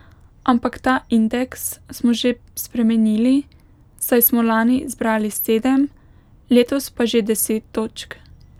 Ampak ta indeks smo že spremenili, saj smo lani zbrali sedem, letos pa že deset točk.